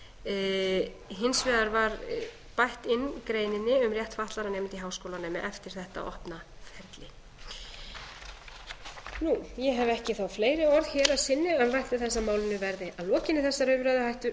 nefndina hins vegar var bætt inn greininni um rétt fatlaðra nemenda í háskólanámi eftir þetta opna ferli ég hef ekki þá fleiri orð hér að sinni en vænti þess að málinu verði að lokinni þessari